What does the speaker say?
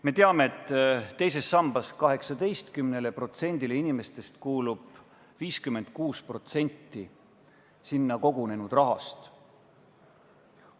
Me teame, et 18%-le teise sambaga liitunud inimestest kuulub 56% sinna kogunenud rahast.